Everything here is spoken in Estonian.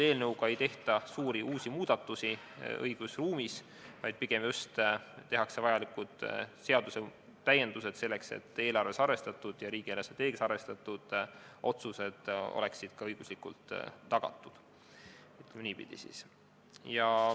Eelnõuga ei tehta suuri uusi muudatusi õigusruumis, vaid pigem tehakse vajalikud seadusetäiendused, selleks et eelarves ja riigi eelarvestrateegias arvestatud otsused oleksid ka õiguslikult tagatud, ütleme siis niipidi.